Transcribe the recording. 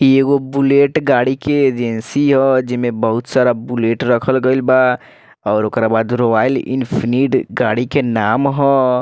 ई एगो बुलेट गाड़ी के एजेंसी ह जेमें बहुत सारा बुलेट रखल गईल बा और ओकरा बाद रॉयल एनफील्ड गाड़ी के नाम ह।